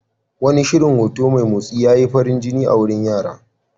Wani shirin hoto mai motsi ya yi farin jini a wurin yara.